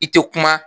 I tɛ kuma